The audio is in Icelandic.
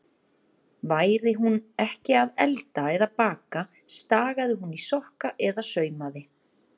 Væri hún ekki að elda eða baka, stagaði hún í sokka eða saumaði.